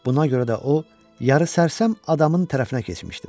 Buna görə də o yarı sərsəm adamın tərəfinə keçmişdim.